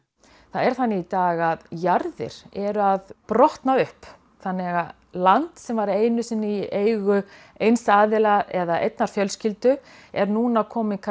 það er þannig í dag að jarðir eru að brotna upp þannig að land sem var einu sinni í eigu eins aðila eða einnar fjölskyldu er núna komið